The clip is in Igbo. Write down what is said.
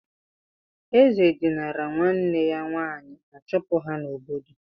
Eze dinira nwanne ya nwaanyị a chụpụ ha n'obodo.